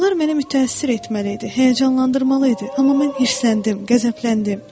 Onlar məni mütəəssir etməli idi, həyəcanlandırmalı idi, amma mən hirsləndim, qəzəbləndim.